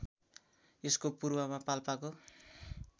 यसको पूर्वमा पाल्पाको